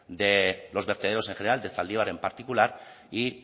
de los vertederos en general de zaldibar en particular y